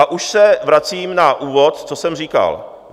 A už se vracím na úvod, co jsem říkal.